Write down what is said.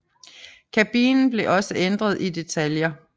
Kabinen blev også ændret i detaljer